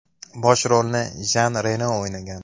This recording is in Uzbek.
Bosh rolni Jan Reno o‘ynagan.